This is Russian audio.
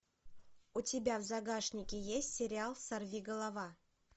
у тебя в загашнике есть сериал сорви голова